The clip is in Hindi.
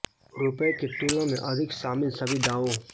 रुपये की तुलना में अधिक शामिल सभी दावों